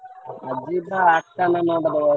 ଆଜି ବା ଆଠ ଟା ନା ନଅଟା ଦୋଳ।